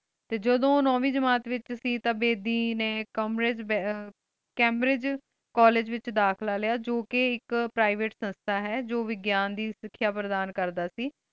T ਜਦੋ ਓਹ ਨੋਵੀ ਜਮਾਤ ਵਿਚ ਸੇ ਟੀ ਬੇਦੀ ਨੀ ਕਾਮਰੀ ਵਿਚ ਕੈਮ੍ਬ੍ਰਿਦ੍ਗੇ ਕੋਲ੍ਲੇਗੇ ਵਿਚ ਦਾਖਲਾ ਲਿਯਾ ਜੋ ਕੀ ਆਇਕ ਪ੍ਰਿਵਾਤੇ ਸੰਸਤਾ ਹੈ ਜੋ ਗਿਯਾਂ ਦੇ ਸਿਖਯ ਪਰਧਾਨ ਕਰਦਾ ਸੇ